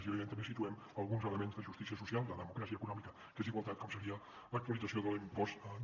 i evidentment també situem alguns elements de justícia social de democràcia econòmica que és igualtat com seria l’actualització de l’impost de